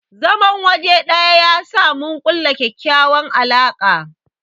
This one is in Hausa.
zaman waje ɗaya yasa mun kulla ƙyaƙyawan alaka.